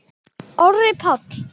Orri Páll.